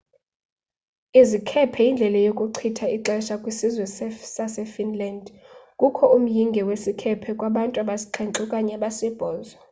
izikhephe yindlela yokuchitha ixesha kwisizwe sasefinland kukho umyinge wesikhephe kubantu abasixhenxe okanye abasibhozo